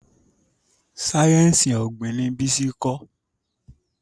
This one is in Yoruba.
sáyẹnsì ogbin ní Bisi nkọ